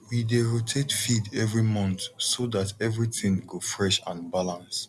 we dey rotate feed every month so dat everything go fresh and balance